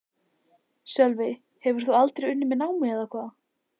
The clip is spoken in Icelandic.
Sölvi: Hefur þú aldrei unnið með námi eða hvað?